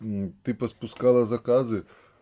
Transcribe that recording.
ты поспускала заказы